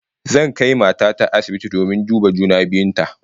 Zan kai mata ta asibiti domin duba juna biyun ta